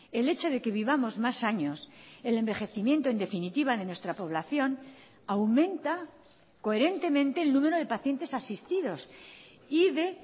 el hecho de que vivamos más años el envejecimiento en definitiva de nuestra población aumenta coherentemente el número de pacientes asistidos y de